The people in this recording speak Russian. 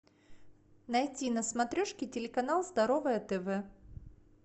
найти на смотрешке телеканал здоровое тв